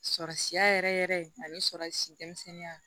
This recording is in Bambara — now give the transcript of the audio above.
Sɔrɔsiya yɛrɛ yɛrɛ ani sɔrɔ si denmisɛnninya